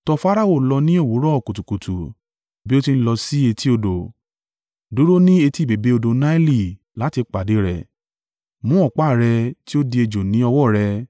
Tọ Farao lọ ni òwúrọ̀ kùtùkùtù bí ó ti ń lọ sí etí odò, dúró ni etí bèbè odò Naili láti pàdé rẹ, mú ọ̀pá rẹ tí ó di ejò ni ọwọ́ rẹ.